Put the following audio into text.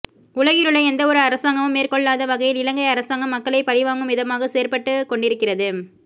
உலகிலுள்ள எந்தவொரு அரசாங்கமும் மேற்கொள்ளாத வகையில் இலங்கை அரசாங்கம் மக்களை பழிவாங்கும் விதமாக செயற்பட்டுக் கொண்டிருக்கிறது